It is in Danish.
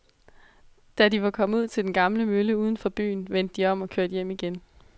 Da de var kommet ud til den gamle mølle uden for byen, vendte de om og kørte hjem igen.